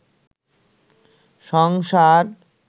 সংসার